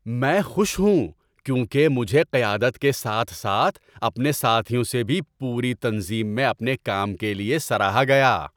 میں خوش ہوں کیونکہ مجھے قیادت کے ساتھ ساتھ اپنے ساتھیوں سے بھی پوری تنظیم میں اپنے کام کے لیے سراہا گیا۔